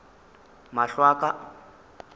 mahlo a ka a ka